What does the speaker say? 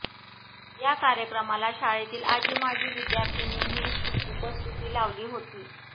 या कार्यक्रमाला शाळेतील आजी माजी विद्यार्थ्यांनीही उपस्थिती लावली होती